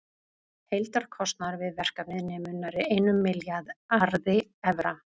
Heildarkostnaður við verkefnið nemur nærri einum milljarði evra.